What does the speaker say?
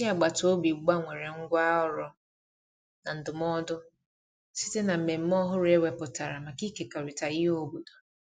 ndi agabata obi gbanwere ngwa ọrụ na ndumụdo site na mmeme ọhụrụ e weputara maka ikekọrita ihe obodo